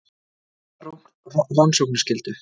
Hvaða rannsóknarskyldu?